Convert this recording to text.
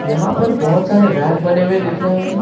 यहां पर बहोत सारे रैक बने हुए दिख रहे हैं।